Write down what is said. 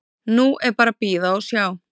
Nú er bara að bíða og sjá.